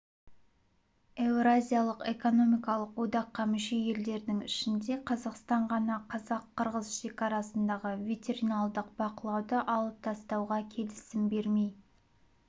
еуразиялық экономикалық одаққа мүше елдердің ішінде қазақстан ғана қазақ-қырғыз шекарасындағы ветериналдық бақылауды алып тастауға келісім бермей